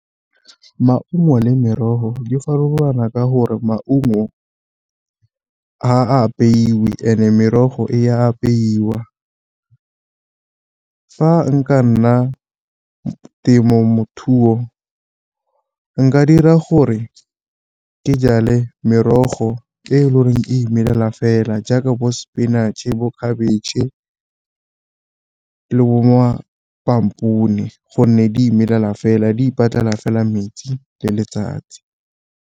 Maungo le merogo di farologana ka gore maungo ga a apeilwe, and-e merogo e apeiwa. Fa nka nna nka dira gore ke jale merogo e le goreng e imelela fela jaaka bo spinach-e, bo khabetšhe, le bo gonne di imelela fela di ipatlela fela metsi le letsatsi.